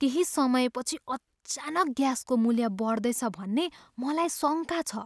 केही समयपछि अचानक ग्यासको मूल्य बड्दैछ भन्ने मलाई शङ्का छ।